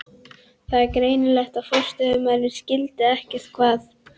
Það var greinilegt að forstöðumaðurinn skildi ekkert hvað